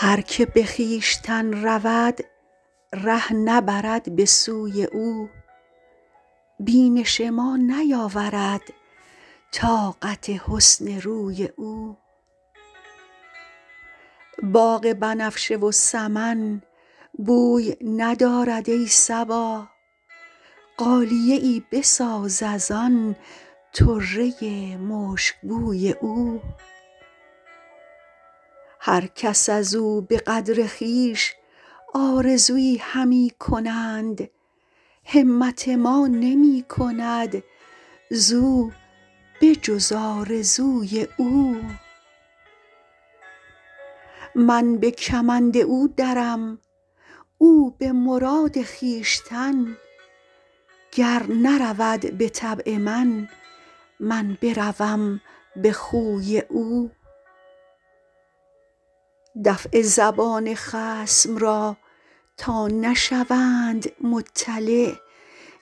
هر که به خویشتن رود ره نبرد به سوی او بینش ما نیاورد طاقت حسن روی او باغ بنفشه و سمن بوی ندارد ای صبا غالیه ای بساز از آن طره مشکبوی او هر کس از او به قدر خویش آرزویی همی کنند همت ما نمی کند زو به جز آرزوی او من به کمند او درم او به مراد خویشتن گر نرود به طبع من من بروم به خوی او دفع زبان خصم را تا نشوند مطلع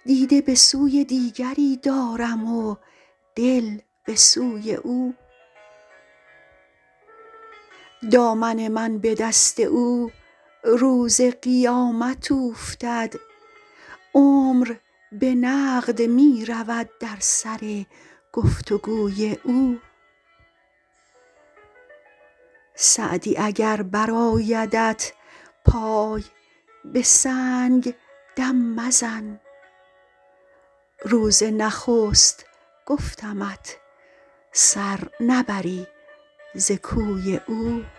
دیده به سوی دیگری دارم و دل به سوی او دامن من به دست او روز قیامت اوفتد عمر به نقد می رود در سر گفت و گوی او سعدی اگر برآیدت پای به سنگ دم مزن روز نخست گفتمت سر نبری ز کوی او